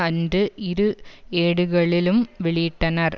அன்று இரு ஏடுகளிலும் வெளியிட்டனர்